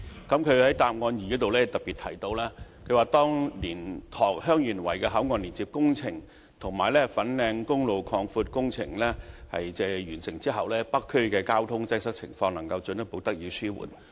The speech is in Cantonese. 他在主體答覆第二部分特別指出，當蓮塘/香園圍口岸連接路工程及粉嶺公路擴闊工程完成後，北區的交通擠塞情況能進一步得以紓緩。